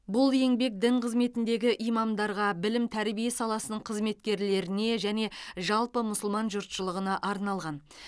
бұл еңбек дін қызметіндегі имамдарға білім тәрбие саласының қызметкерлеріне және жалпы мұсылман жұртшылығына арналған